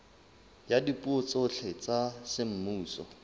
ya dipuo tsohle tsa semmuso